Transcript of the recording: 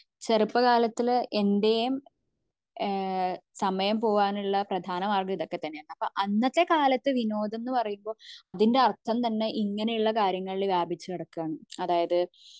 ചെറുപ്പകാലത്തെ എന്റെയും ഏഹ്ഹ് സമയം പോകാനുള്ള പ്രധാന മാർഗം ഇതൊക്കെ തന്നെയാണ് അപ്പോ അന്നത്തെ കാലത് വിനോദം എന്ന പറയുമ്പോ അതിന്റെ അർഥം തന്നെ ഇങ്ങനെ ഉള്ള കാര്യങ്ങളിൽ വ്യാപിച്ചു കിടക്കാൻ അതായത്